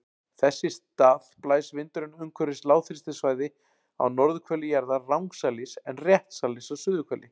Þess í stað blæs vindurinn umhverfis lágþrýstisvæði á norðurhveli jarðar rangsælis en réttsælis á suðurhveli.